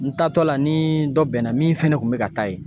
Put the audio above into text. N taatɔ la ni dɔ bɛnna min fɛnɛ kun mɛ ka taa yen.